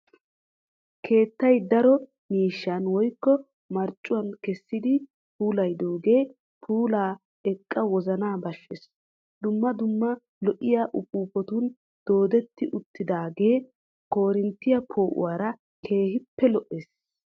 Keettay daro miishshan woykko marccuwaa keessidi puulayidoogee puulaa eqqa wozanaa bashshees. Dumma dumma lo"iyaa upuupatun doodetti uttaagee korinttiyaa poo"uwaara keehippe lo"ees.